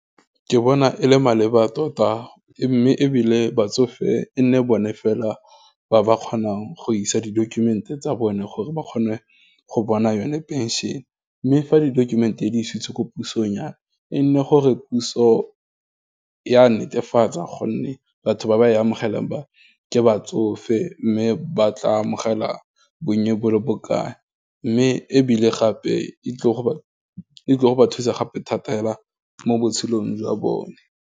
Ke bona e le maleba tota, mme ebile batsofe e nne bone fela ba ba kgonang go isa di-document-e tsa bone, gore ba kgone go bona yone pension. Mme fa di-document-e, di isitswe ko pusong yana, e nne gore puso ya netefatsa, gonne batho ba ba e amogelang ba, ke batsofe, mme ba tla amogela bonye bo le bokae, mme ebile gape e tlo go ba thusa gape thata fela, mo botshelong jwa bone.